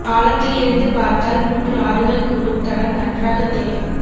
பாலத்தில் இருந்து பார்த்தல் மூன்று ஆறுகள் கூடும் தடம் நன்றாகத் தெரியும்